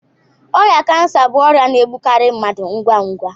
Ọrịa kansa bụ ọrịa na-egbukarị mmadụ ngwa ngwa.